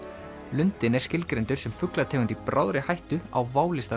lundinn er skilgreindur sem fuglategund í bráðri hættu á válista